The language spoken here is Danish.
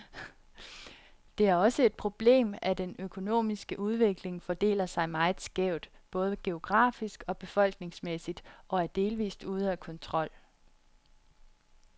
Det er også et problemet, at den økonomiske udvikling fordeler sig meget skævt, både geografisk og befolkningsmæssigt, og er delvist ude af kontrol.